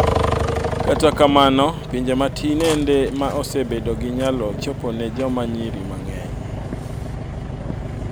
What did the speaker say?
Kata kamano pinje matin ende ma osebedo gi nyalo chopo ne joma nyiri mang'eny